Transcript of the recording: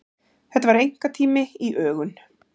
Þetta var einkatími í ögun.